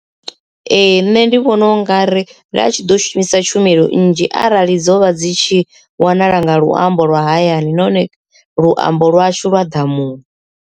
Ee, nṋe ndi vhona u nga ri ndi a tshi ḓo shumisa tshumelo nnzhi arali dzo vha dzi tshi wanala nga luambo lwa hayani nahone luambo lwashu lwa ḓamuni.